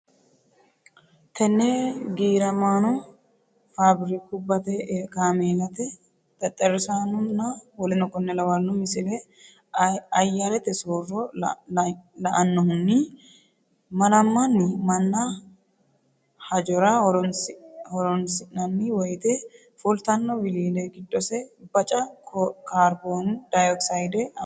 Tenne giiramaano faabirikubbate kaameellate xexxerrisahonna w k l Misile Ayyarete soorro la annohunni malamanni manna hajora horonsi nanni woyte fultanno wiliile giddose baca kaarbooni dayokisayde amaddinote.